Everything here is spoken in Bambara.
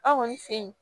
Aw kɔni fe yen